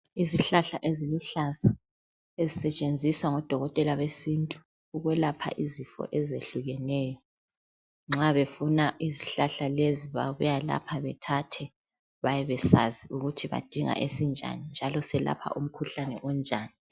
Izihlahla eziluhlaza ezisetshenziswa ngodokotela besintu ukwelapha izifo ezehlukeneyo nxa befuna izihlahla lezi babuya lapha bethathe bayabe besazi ukuthi badinga esinjani njalo selapha umkhuhlane onjani .